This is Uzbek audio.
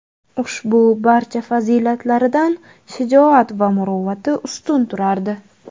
Ushbu barcha fazilatlaridan shijoat va muruvvati ustun turardi.